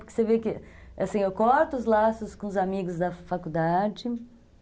Porque você vê que, assim, eu corto os laços com os amigos da faculdade